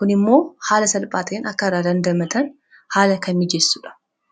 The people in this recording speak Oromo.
kun immoo haala salphaa ta'een akka irraa dandamatan haala kan mijessuudha